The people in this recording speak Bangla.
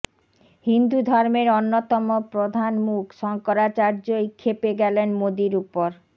হিন্দু ধর্মের অন্যতম প্রধান মুখ শঙ্করাচার্যই খেপে গেলেন মোদীর উপর